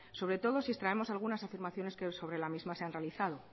sobre todo si extraemos algunas afirmaciones que sobre la misma se ha realizado